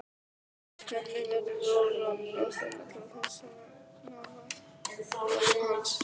Henni verður rórra að finna til þessarar nálægðar hans.